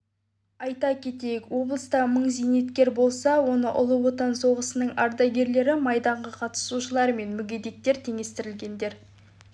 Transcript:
айта кетейік облыста мың зейнеткер болса оның ұлы отан соғысының ардагерлері майданға қатысушылар мен мүгедектікке теңестірілгендер